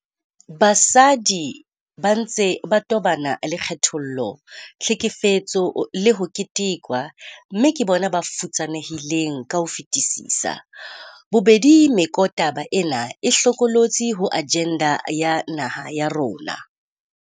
Basadi ba ntse ba tobana le kgethollo, tlhekefetso le ho ketekwa, mme ke bona ba futsanehileng ka ho fetisisa. Bobedi mekotaba ena e hlokolotsi ho ajenda ya naha ya rona.